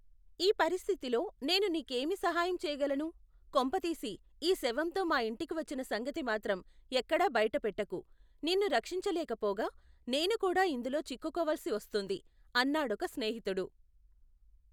ఈ పరిస్థితిలో నేను నీకేమి సహాయం చేయ్యగలను ? కొంపతీసి, ఈ శవంతో మా యింటికి వచ్చిన సంగతి మాత్రం ఎక్కడా బయట పెట్టకు. నిన్ను రక్షించలేకపోగా నేను కూడా ఇందులో చిక్కుకోవలసివస్తుంది! అన్నాడొక స్నేహితుడు.